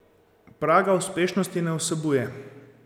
Praga uspešnosti ne vsebuje.